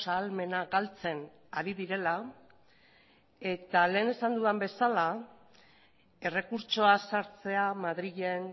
ahalmena galtzen ari direla eta lehen esan dudan bezala errekurtsoa sartzea madrilen